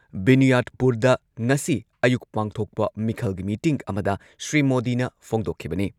ꯕꯤꯅꯤꯌꯥꯗꯄꯨꯔꯗ ꯉꯁꯤ ꯑꯌꯨꯛ ꯄꯥꯡꯊꯣꯛꯄ ꯃꯤꯈꯜꯒꯤ ꯃꯤꯇꯤꯡ ꯑꯃꯗ ꯁ꯭ꯔꯤ ꯃꯣꯗꯤꯅ ꯐꯣꯡꯗꯣꯛꯈꯤꯕꯅꯤ꯫